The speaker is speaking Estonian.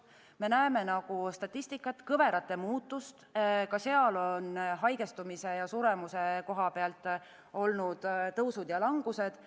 Me näeme statistikat, kõverate muutust – ka seal on haigestumise ja suremuse kohapealt olnud tõusud ja langused.